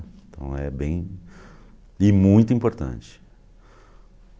Então é bem e muito importante.